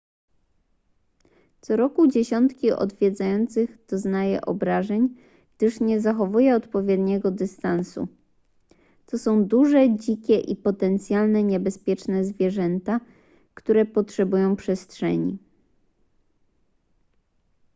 co roku dziesiątki odwiedzających doznaje obrażeń gdyż nie zachowuje odpowiedniego dystansu to są duże dzikie i potencjalnie niebezpieczne zwierzęta które potrzebują przestrzeni